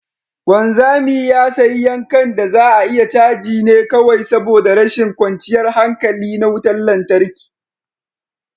wanzami ya sayi yankan da za a iya caji ne kawai saboda rashin kwanciyar hankali na wutar lantarki